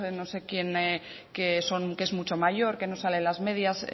no sé quién que es mucho mayor que no salen las medidas